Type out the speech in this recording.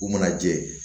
U mana jɛ